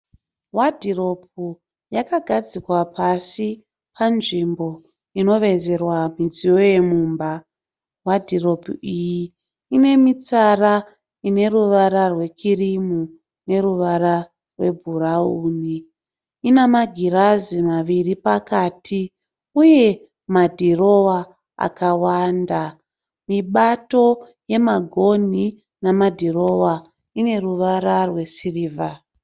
Wadhiropu yakagadzikwa pasi panzvimbo inovezerwa midziyo yemumba. Wadhiropu iyi ine mitsara ine ruvara rwekirimu neruvara rwebhurauni. Ina magirazi maviri pakati uye madhirowa akawanda. Mibato yemagonhi namadhirowa ine ruvara rwesirivha.